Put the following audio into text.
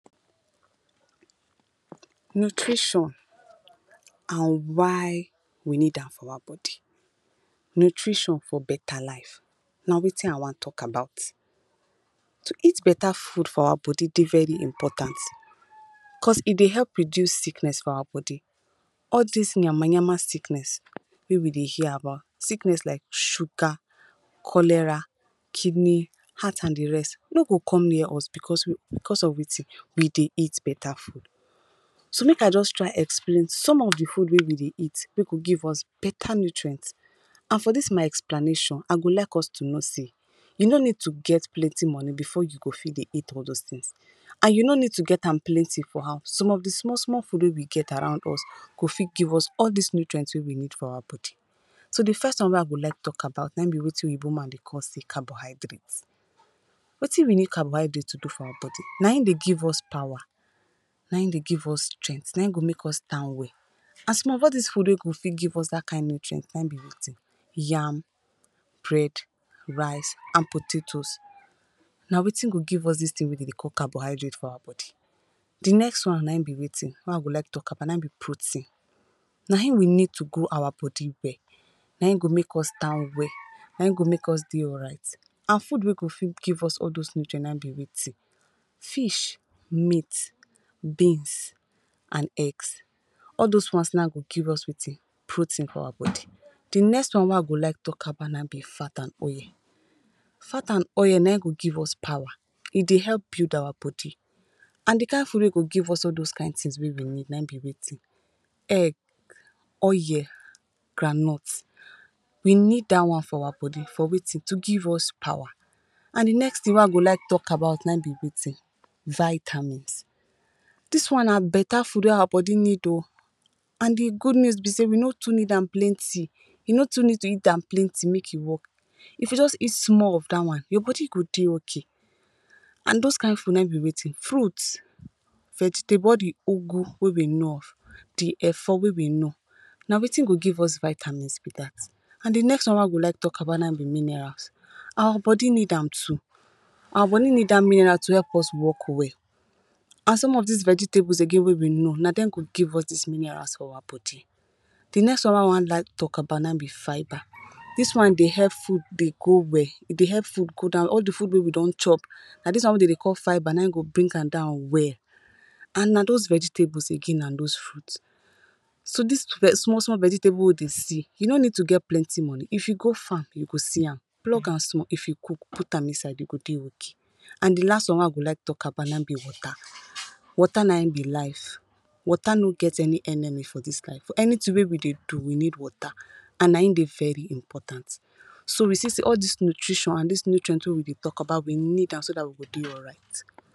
Nutrition and why we need am for our body. Nutrition for betta life. Na wetin I wan tok about. To eat betta food for our body, dey very important coz e dey help reduce sickness for our body. All dis nyama-nyama sickness wey we dey hear about, sickness like sugar, cholera, kidney, heart and di rest, no go come near us bicos bicos of wetin we dey eat betta food. So, make I just try explain some of di food wey we dey eat wey go give us betta nutrients. And for dis my explanation, I go like us to know say you no need to get plenty money bifor you go fit dey eat all dos tins, and you no need to get am plenty for house. Some of di small, small food wey we get around us go fit give us all dis nutrients wey we need for our body. So, di first one wey I go like tok about na aim be wetin oyinbo man dey call say carbohydrates. Wetin we need carbohydrate to do for our body? Na im dey give us power. Na im, dey give us strength. Na im go make us stand well. As some of all dis food wey go fit give us dat kain nutrient na im be wetin yam, bread, rice and potatoes. Na wetin go give us dis tin wey we dey call carbohydrate for our body. Di next one na im be wetin, wey I go like tok about. Na im be protein. Na im we need to grow our body well. Na im go make us stand well. Na im go make us dey make us dey alright. And food wey go fit give us all those nutrients n aim be wetin? Fish, meats, beans and eggs. All dos ones na go give us wetin, protein for our body. Di next one wey I go like tok about na im be fat and oil. Fat and oil, na im go give us power. E dey help build our body. And di kind food wey go give us all those kinds tins wey we need na im be wetin? Egg, oil, groundnuts. We need dat one for our body. For wetin? To give us power. And di next tin wey I go like tok about na im be wetin? vitamins. Dis one na betta food wey our body need oh. And di good news be say we no too need am plenty. You no too need to eat dem plenty make e work. If you just eat small of dat one, your body go dey okay. And those kind food na im be wetin, Fruits, vegetable, all di ugu wey we know of. Di efo wey we know, na wetin go give us vitamins be dat. And di next one wey I go like tok about na aim be minerals. Our body need am too. Our body need dat mineral to help us work well. And some of these vegetables again wey we know, na dem give us dis minerals for our body. Di next one wey I wan like tok about na im be fiber. Dis one, dey help food dey go well, e Dey help food go down well. All di food wey we don chop. Na dis one wey dey dey call fiber na im go bring am down well. And na those vegetables again and those fruits. So, dis small, small vegetable wey we dey see, you no need to get plenty money. If you go farm, you go see am. Plug am small. If you cook, put am inside, you go dey okay. And di last one wey I go like tok about na im be water. Water na im be life. Water no get any enemy for dis life, anytin wey we dey do, we need water. And na im dey very important. So, you see- sey all dis nutrition and dis nutrient wey we dey tok about, we need am so dat we go dey alright.